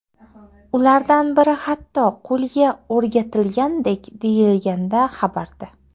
Ulardan biri hatto qo‘lga o‘rgatilgandek”, deyilgan xabarda.